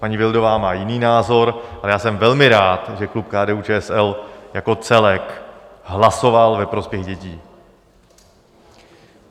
Paní Vildová má jiný názor, ale já jsem velmi rád, že klub KDU-ČSL jako celek hlasoval ve prospěch dětí.